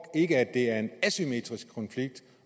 ikke at det er en asymmetrisk konflikt